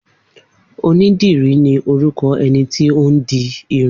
Onídìrí ni orúkọ ẹni tí ó ń di irun